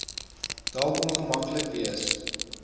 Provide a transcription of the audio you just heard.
dalk ongemaklik wees